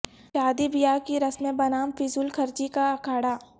شادی بیاہ کی رسمیں بنام فضول خرچی کا اکھاڑہ